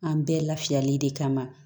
An bɛɛ lafiyali de kama